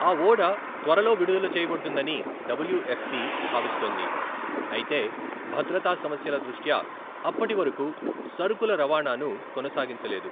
ఆ ఓడ త్వరలో విడుదల చేయబడుతుందని డబ్ల్యూఎఫ్పి భావిస్తోంది, అయితే భద్రతా సమస్యల దృష్ట్యా అప్పటి వరకు సరుకుల రవాణాను కొనసాగించలేదు.